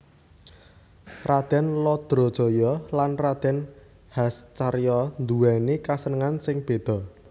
Radèn Lodrojoyo lan Radèn Hascaryo nduwèni kasenengan sing béda